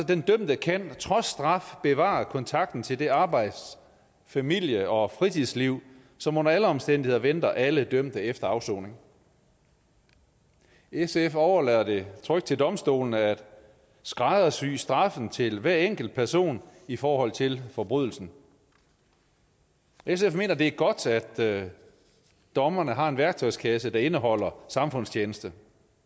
den dømte kan trods straf bevare kontakten til det arbejds familie og fritidsliv som under alle omstændigheder venter alle dømte efter afsoning sf overlader det trygt til domstolene at skræddersy straffen til hver enkelt person i forhold til forbrydelsen sf mener det er godt at dommerne har en værktøjskasse der indeholder samfundstjeneste